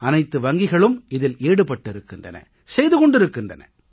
அனைத்து வங்கிகளும் இதில் ஈடுபட்டிருக்கின்றன செய்து கொண்டிருக்கின்றன